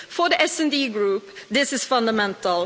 For the SD Group, this is fundamental.